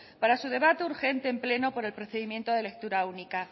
para su debate urgente en pleno por el procedimiento de lectura única